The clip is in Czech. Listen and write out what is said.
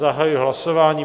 Zahajuji hlasování.